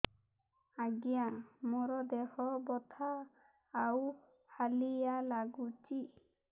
ଆଜ୍ଞା ମୋର ଦେହ ବଥା ଆଉ ହାଲିଆ ଲାଗୁଚି